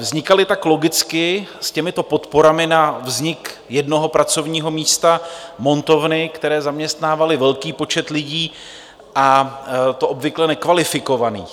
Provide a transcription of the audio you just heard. Vznikaly tak logicky s těmito podporami na vznik jednoho pracovního místa montovny, které zaměstnávaly velký počet lidí, a to obvykle nekvalifikovaných.